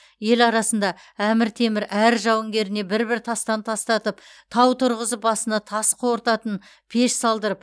ел арасында әмір темір әр жауынгеріне бір бір тастан тастатып тау тұрғызып басына тас қорытатын пеш салдырып